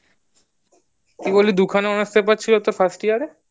কি বললি দুখানা honours paper ছিল first year এ